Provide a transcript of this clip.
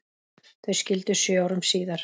Þau skildu sjö árum síðar.